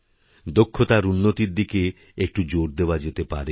দক্ষতার উন্নতির দিকে একটু জোর দেওয়া যেতে পারে